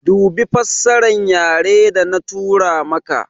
Dubi fassaran yare da na tura maka